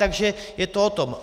Takže je to o tom.